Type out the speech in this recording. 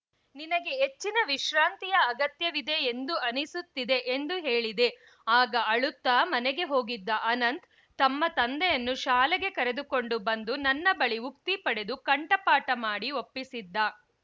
ನಿನಗೆ ಹೆಚ್ಚಿನ ವಿಶ್ರಾಂತಿಯ ಅಗತ್ಯವಿದೆ ಎಂದು ಅನಿಸುತ್ತಿದೆ ಎಂದು ಹೇಳಿದೆ ಆಗ ಅಳುತ್ತಾ ಮನೆಗೆ ಹೋಗಿದ್ದ ಅನಂತ್‌ ತಮ್ಮ ತಂದೆಯನ್ನು ಶಾಲೆಗೆ ಕರೆದುಕೊಂಡು ಬಂದು ನನ್ನ ಬಳಿ ಉಕ್ತಿ ಪಡೆದು ಕಂಠಪಾಟ ಮಾಡಿ ಒಪ್ಪಿಸಿದ್ದ